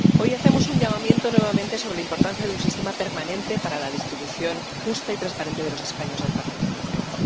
Hoy hacemos un llamamiento nuevamente sobre la importancia de un sistema permanente para la distribución justa y transparente de los escaños del Parlamento Europeo.